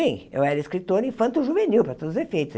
Bem eu era escritora infanto-juvenil, para todos os efeitos.